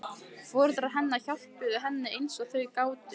Foreldrar hennar hjálpuðu henni eins og þau gátu.